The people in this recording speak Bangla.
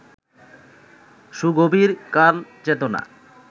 সুগভীর কালচেতনা